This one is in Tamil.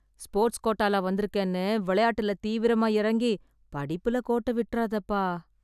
ஸ்போர்ட்ஸ் கோட்டால வந்துருக்கேன்னு விளையாட்டுல தீவிரமா எறங்கி, படிப்புல கோட்டை விட்றாதேப்பா.